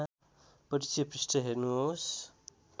परिचय पृष्ठ हेर्नुहोस्